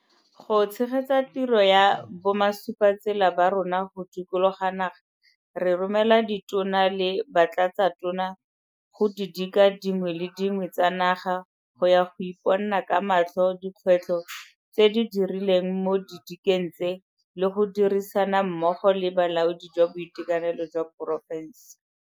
Go tshegetsa tiro ya bomasupatsela ba rona go dikologa naga, re romela Ditona le Batlatsatona go didika dingwe le dingwe tsa naga go ya go iponna ka matlho dikgwetlho tse di rileng mo didikeng tse le go dirisana mmogo le bolaodi jwa boitekanelo jwa porofense.